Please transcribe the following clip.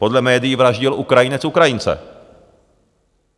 Podle médií vraždil Ukrajinec Ukrajince.